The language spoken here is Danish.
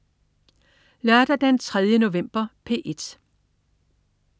Lørdag den 3. november - P1: